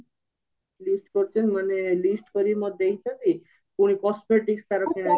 list କରିଚନ୍ତି ମାନେ list କରିକି ମତେ ଦେଇଚନ୍ତି ପୁଣି cosmetics ତାର କିଣା